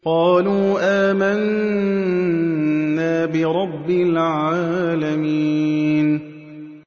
قَالُوا آمَنَّا بِرَبِّ الْعَالَمِينَ